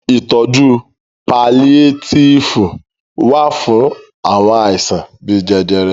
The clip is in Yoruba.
Ìtọjú paliétífù wà fún àwọn àìsàn bíi jẹjẹrẹ.